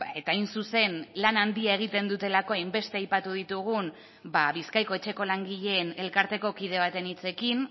eta hain zuzen lan handia egiten dutelako hainbeste aipatu ditugun bizkaiko etxeko langileen elkarteko kide baten hitzekin